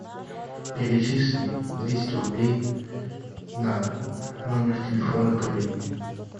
перечисли двести рублей на номер телефона коллеги